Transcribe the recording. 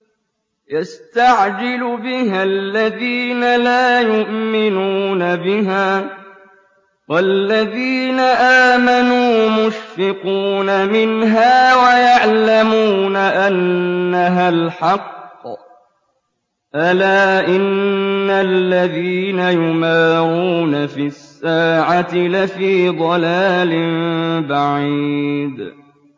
يَسْتَعْجِلُ بِهَا الَّذِينَ لَا يُؤْمِنُونَ بِهَا ۖ وَالَّذِينَ آمَنُوا مُشْفِقُونَ مِنْهَا وَيَعْلَمُونَ أَنَّهَا الْحَقُّ ۗ أَلَا إِنَّ الَّذِينَ يُمَارُونَ فِي السَّاعَةِ لَفِي ضَلَالٍ بَعِيدٍ